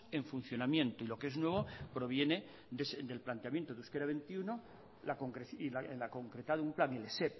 en funcionamiento y lo que es nuevo proviene del planteamiento de euskera veintiuno y la concreta de un plan el esep